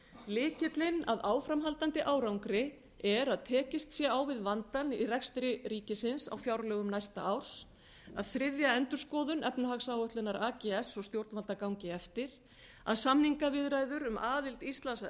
lykillinn að áframhaldandi árangri er að tekist sé á við vandann í rekstri ríkisins á fjárlögum næsta árs að þriðja endurskoðun efnahagsáætlunar ags og stjórnvalda gangi eftir að samningaviðræður um aðild íslands að